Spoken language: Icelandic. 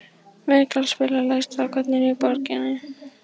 Mikkael, spilaðu lagið „Strákarnir á Borginni“.